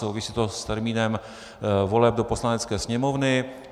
Souvisí to s termínem voleb do Poslanecké sněmovny.